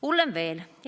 Hullem veel.